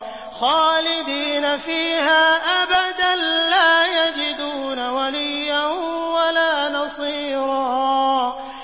خَالِدِينَ فِيهَا أَبَدًا ۖ لَّا يَجِدُونَ وَلِيًّا وَلَا نَصِيرًا